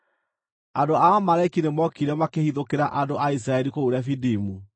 Andũ a Amaleki nĩmookire makĩhithũkĩra andũ a Isiraeli kũu Refidimu.